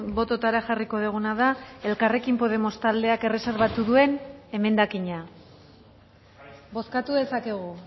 bototara jarriko duguna da elkarrekin podemos taldeak erreserbatu duen emendakina bozkatu dezakegu